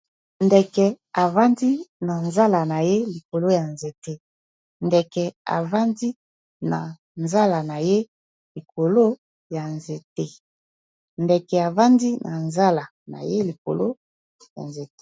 ndeke ,ndeke efandi na nzala na ye likolo ya nzete.